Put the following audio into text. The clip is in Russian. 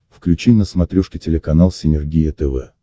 включи на смотрешке телеканал синергия тв